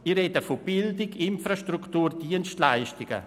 Ich spreche von Bildung, Infrastruktur und Dienstleistungen.